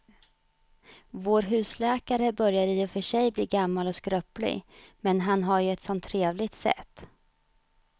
Vår husläkare börjar i och för sig bli gammal och skröplig, men han har ju ett sådant trevligt sätt!